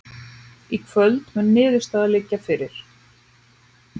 Í kvöld mun niðurstaðan liggja fyrir